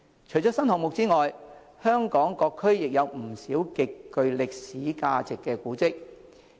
除了新項目外，香港各區亦有不少極具歷史價值的古蹟。